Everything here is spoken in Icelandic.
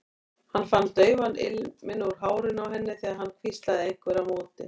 Hann fann daufan ilminn úr hárinu á henni þegar hann hvíslaði einhverju á móti.